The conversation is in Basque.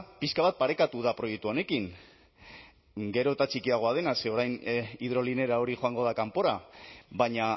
pixka bat parekatu da proiektu honekin gero eta txikiagoa dena ze orain hidrolinera hori joango da kanpora baina